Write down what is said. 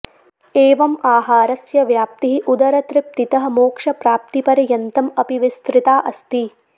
एवम् आहारस्य व्याप्तिः उदरतृप्तितः मोक्षप्राप्तिपर्यन्तम् अपि विस्तृता अस्ति